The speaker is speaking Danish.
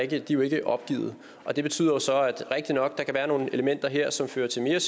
de er jo ikke opgivet og det betyder så det er rigtigt nok at være nogle elementer her som fører til mere